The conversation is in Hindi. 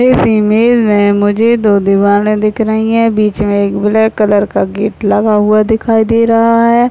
इस इमेज में मुझे दो दीवाले दिख रही है बीच में एक ब्लैक कलर का गेट लगा हुआ दिखाई दे रहा है।